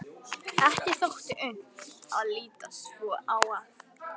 Ekki þótti unnt að líta svo á að